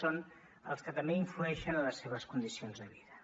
són els que també influeixen en les seves condicions de vida